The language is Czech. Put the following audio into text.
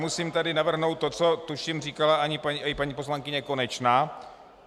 Musím tady navrhnout to, co tuším říkala i paní poslankyně Konečná.